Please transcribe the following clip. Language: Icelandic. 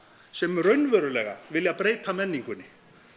sem raunverulega vilja breyta menningunni